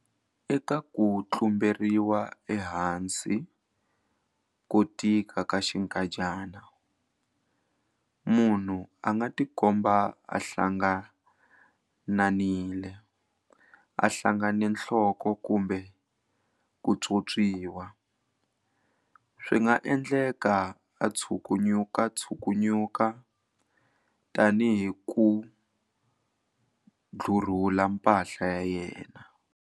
Eka ku tlumberiwa ehansi ko tika ka xinkadyana, munhu a nga tikomba a hlangananile, a hlangane nhloko kumbe ku pyopyiwa. Swi nga endleka a tshukunyukatshukunya, tanihi ku dlurhula mpahla ya yena.